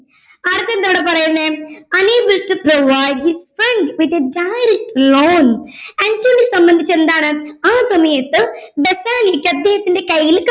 അടുത്ത എന്താണ് പറയുന്നെ unable to provide his friend with a direct loan അന്റോണിയോയെ സംബന്ധിച്ചടുത്തോളം എന്താണ് ആ സമയത്ത് ബസാനിയോക് അദ്ദേഹത്തിൻറെ കയ്യിൽ